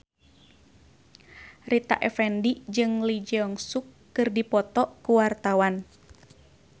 Rita Effendy jeung Lee Jeong Suk keur dipoto ku wartawan